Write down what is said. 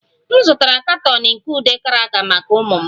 M zụtara katọn nke ude cracker maka ụmụ m